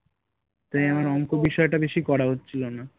বিষয়টা বেশি করা হচ্ছিলো না